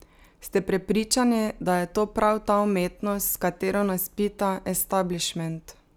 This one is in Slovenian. Ste prepričani, da je to prav ta umetnost, s katero nas pita establišment?